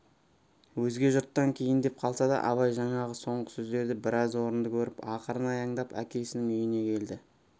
өзге жұрттан кейіндеп қалса да абай жаңағы соңғы сөздерді біраз орынды көріп ақырын аяңдап әкесінің үйіне келді